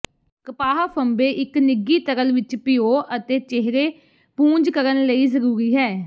ਕਪਾਹ ਫ਼ੰਬੇ ਇੱਕ ਨਿੱਘੀ ਤਰਲ ਵਿੱਚ ਭਿਓ ਅਤੇ ਚਿਹਰੇ ਪੂੰਝ ਕਰਨ ਲਈ ਜ਼ਰੂਰੀ ਹੈ